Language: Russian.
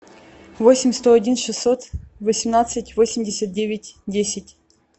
восемь сто один шестьсот восемнадцать восемьдесят девять десять